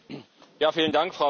Frau Präsidentin!